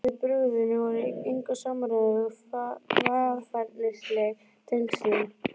Og viðbrögðin voru í engu samræmi við varfærnisleg tengslin.